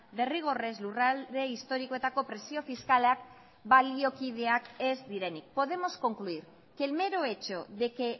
derrigorrez lurralde historikoetako presio fiskalak baliokideak ez direnik podemos concluir que el mero hecho de que